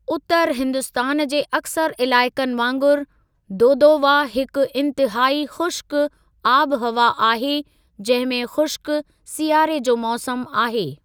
उतरु हिन्दुस्तान जे अक्सर इलाइक़नि वांगुरु, दोदोवा हिकु इंतहाई ख़ुश्क आबहवा आहे जंहिं में ख़ुश्क सियारे जो मौसमु आहे।